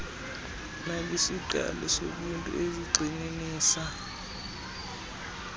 nakwisiqalo sobuntu ezigxininisa